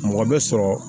Mɔgɔ bɛ sɔrɔ